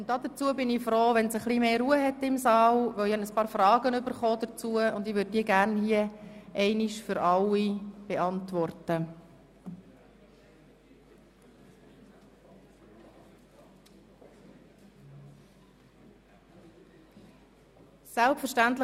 Ich wäre allerdings froh, wenn es im Saal ein bisschen ruhiger würde, denn ich habe ein paar Fragen erhalten, die ich hier gleich für alle beantworten möchte.